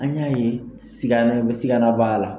An y'a ye sigana sigana b'a la.